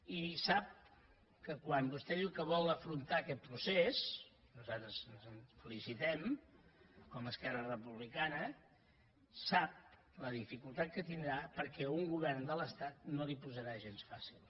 i sap que quan vostè diu que vol afrontar aquest procés nosaltres ens en felicitem com a esquerra republicana sap la dificultat que tindrà perquè un govern de l’estat no li ho posarà gens fàcil